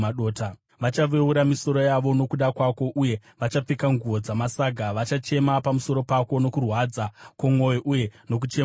Vachaveura misoro yavo nokuda kwako, uye vachapfeka nguo dzamasaga. Vachachema pamusoro pako nokurwadza kwomwoyo, uye nokuchema kukuru.